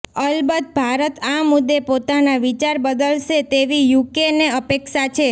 અલબત ભારત આ મુદ્દે પોતાના વિચાર બદલશે તેવી યુકેને અપેક્ષા છે